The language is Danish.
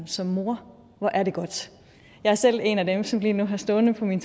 som mor hvor er det godt jeg er selv en af dem som lige nu har stående på min